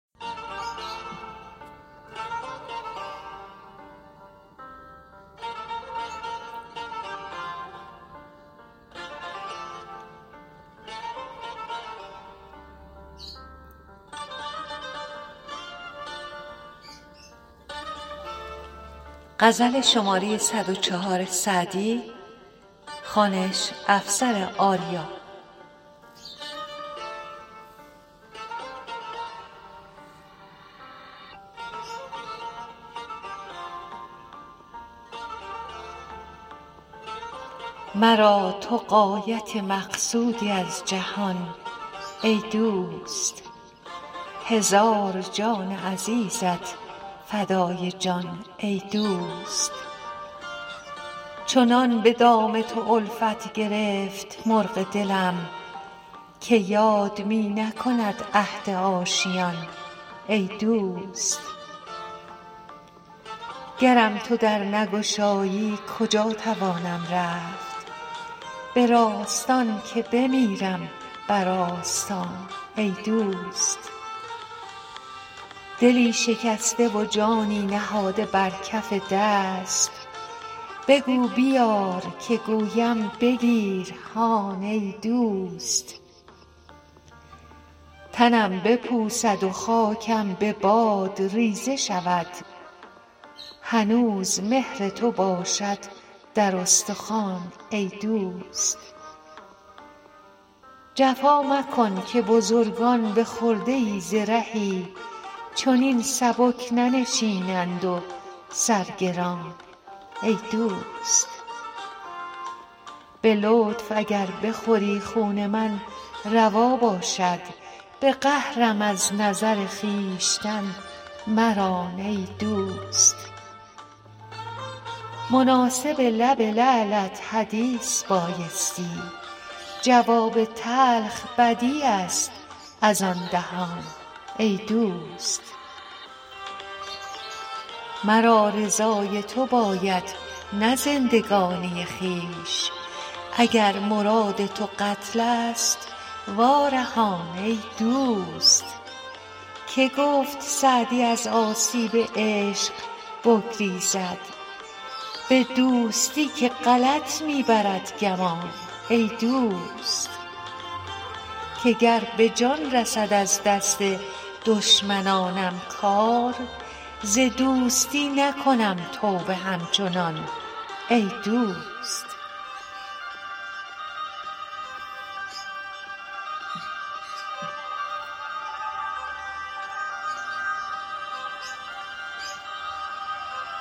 مرا تو غایت مقصودی از جهان ای دوست هزار جان عزیزت فدای جان ای دوست چنان به دام تو الفت گرفت مرغ دلم که یاد می نکند عهد آشیان ای دوست گرم تو در نگشایی کجا توانم رفت به راستان که بمیرم بر آستان ای دوست دلی شکسته و جانی نهاده بر کف دست بگو بیار که گویم بگیر هان ای دوست تنم بپوسد و خاکم به باد ریزه شود هنوز مهر تو باشد در استخوان ای دوست جفا مکن که بزرگان به خرده ای ز رهی چنین سبک ننشینند و سر گران ای دوست به لطف اگر بخوری خون من روا باشد به قهرم از نظر خویشتن مران ای دوست مناسب لب لعلت حدیث بایستی جواب تلخ بدیع است از آن دهان ای دوست مرا رضای تو باید نه زندگانی خویش اگر مراد تو قتل ست وا رهان ای دوست که گفت سعدی از آسیب عشق بگریزد به دوستی که غلط می برد گمان ای دوست که گر به جان رسد از دست دشمنانم کار ز دوستی نکنم توبه همچنان ای دوست